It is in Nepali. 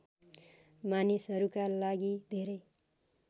मानिसहरूका लागि धेरै